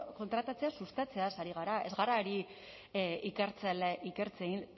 kontratatzea sustatzeaz ari gara ez gara ari